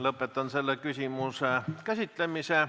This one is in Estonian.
Lõpetan selle küsimuse käsitlemise.